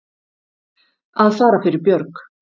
Að fara fyrir björg